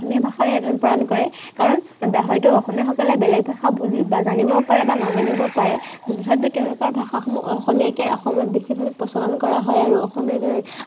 অসমীয়া ভাষাৰেই আদান প্ৰদান কৰে। কাৰন হয়তো অসমীয়াসকলে বেলেগ ভাষা বুজিব, জানিব পাৰে বা নাজানিব পাৰে, তথাপিও তেওঁলোকৰ ভাষাসমূহ অসমীয়াকে অসমত বেছিভাগ প্ৰচলন কৰা হয় আৰু অসমীয়াৰ জড়িয়তে